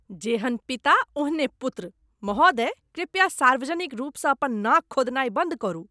जेहन पिता, ओहने पुत्र। महोदय, कृपया सार्वजनिक रूपसँ अपन नाक खोधनाय बन्द करू।